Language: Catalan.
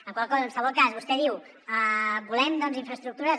en qualsevol cas vostè diu volem infraestructures